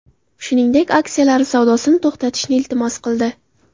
Shuningdek, aksiyalari savdosini to‘xtatishni iltimos qildi.